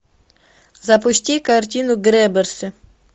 запусти картину грэбберсы